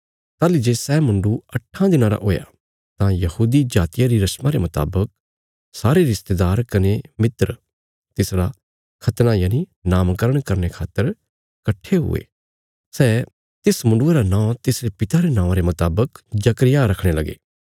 ताहली जे सै मुण्डुये अट्ठां दिनां रा हुया तां यहूदी जातिया री रशमा रे मुतावक सारे रिश्तेदार कने मित्र तिसरा खतना नामकरण करने खातर कट्ठे हुए सै तिस मुण्डुये रा नौं तिसरे पिता रे नौआं रे मुतावक जकर्याह रखणे लगे